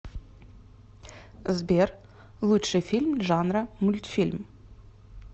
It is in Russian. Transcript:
сбер лучший фильм жанра мультфильм